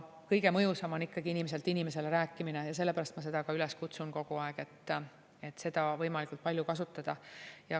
Kõige mõjusam on ikkagi inimeselt inimesele rääkimine ja sellepärast ma kogu aeg üles kutsungi seda võimalikult palju kasutama.